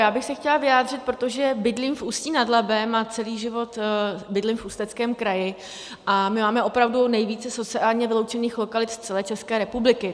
Já bych se chtěla vyjádřit, protože bydlím v Ústí nad Labem a celý život bydlím v Ústeckém kraji, a my máme opravdu nejvíce sociálně vyloučených lokalit z celé České republiky.